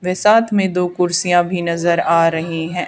व साथ में दो कुर्सियां भी नजर आ रही हैं।